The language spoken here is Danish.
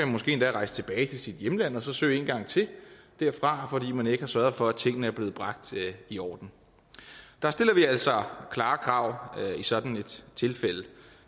måske rejse tilbage til sit hjemland og søge en gang til derfra fordi man ikke har sørget for at tingene er blevet bragt i orden der stiller vi altså klare krav i sådan et tilfælde